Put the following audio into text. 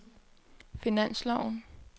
finansloven